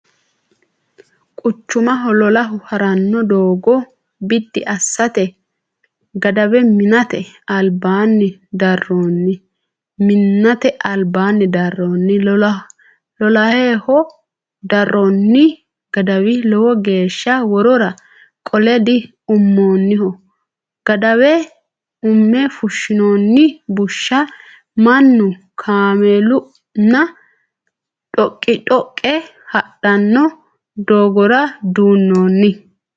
Quchumaho lolahu harano doogo biddi assate gadawe minnate albaanni darroonni. Lolaheho darroonni gadawi lowo geeshsha worora qolle di ummoonniho. Gadawe umme fushshinoonni bushsha mannu, kameeelu nna dhoqqi dhoqqe hadhano doogora duunnoonni.